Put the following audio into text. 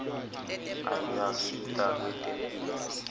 ayasita kwetemphilo